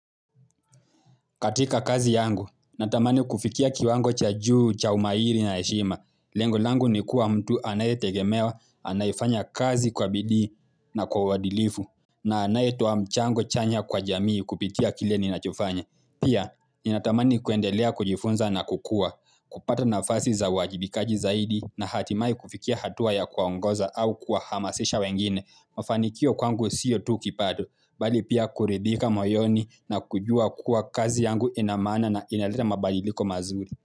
Katika kazi yangu, natamani kufikia kiwango cha juu, cha umairi na heshima. Lengo langu ni kuwa mtu anayetegemewa, anayefanya kazi kwa bidii na kwa wadilifu, na anayetoa mchango chanya kwa jamii kupitia kile ninachofanya. Pia, ninatamani kuendelea kujifunza na kukuwa, kupata nafasi za uwajibikaji zaidi, na hatimaye kufikia hatua ya kuwaongoza au kuwahamasisha wengine, mafanikio kwangu siyo tu kipaa tu, bali pia kuridhika moyoni na kujua kuwa kazi yangu ina maana na inaleta mabaliliko mazuri.